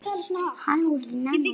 Þannig hafði hann hugsað.